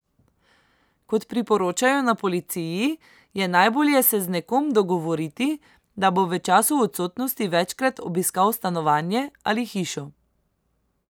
Kot priporočajo na policiji, je najbolje se z nekom dogovoriti, da bo v času odsotnosti večkrat obiskal stanovanje ali hišo.